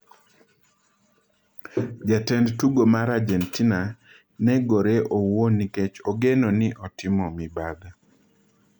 Jatend tugo mar Argentina negore owuon nikech ogeno ni otimo mibadhi